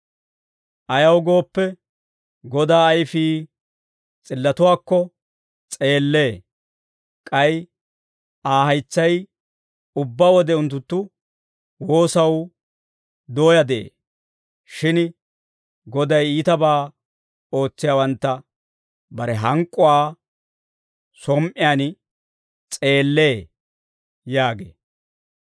«Ayaw gooppe, Godaa ayfii s'illotuwaakko s'eellee; k'ay Aa haytsay ubbaa wode unttunttu woosaw dooyaa de'ee. Shin Goday iitabaa ootsiyaawantta bare hank'k'uwaa som"iyaan s'eellee» yaagee.